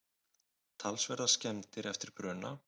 Talsverðar skemmdir eftir bruna